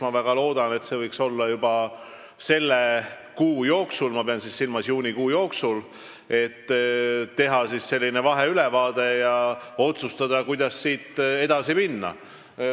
Ma väga loodan, et see võiks toimuda juba selle kuu jooksul, pean silmas juunikuud, kui tehakse vaheülevaade ja otsustatakse, kuidas siit edasi minna.